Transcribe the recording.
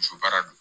Muso baara don